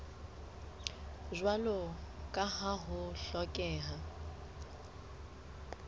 jwalo ka ha ho hlokeha